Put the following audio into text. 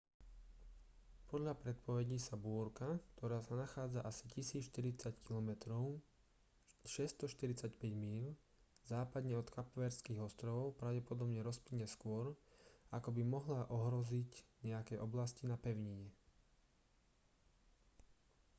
podľa predpovedí sa búrka ktorá sa nachádza asi 1 040 km 645 míľ západne od kapverdských ostrovov pravdepodobne rozplynie skôr ako by mohla ohroziť nejaké oblasti na pevnine